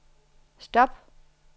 stop